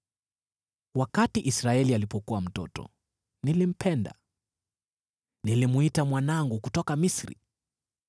“Wakati Israeli alipokuwa mtoto, nilimpenda, nilimwita mwanangu kutoka Misri.